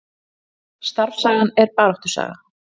Starfssagan er baráttusaga